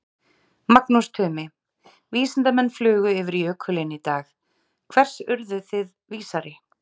Magnús Tumi, vísindamenn flugu yfir jökulinn í dag, hvers urðuð þið vísari?